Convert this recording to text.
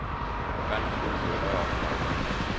Vand fryser i rør og på vejbaner.